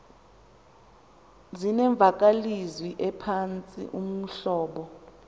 zinemvakalezwi ephantsi uhlobo